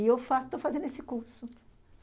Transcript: E eu falo, estou fazendo esse curso.